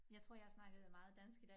Jeg tror jeg har snakket meget dansk i dag